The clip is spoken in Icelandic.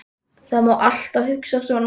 Það má alltaf hugsa svona.